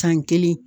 San kelen